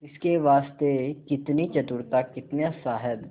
इसके वास्ते कितनी चतुरता कितना साहब